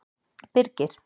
Birgir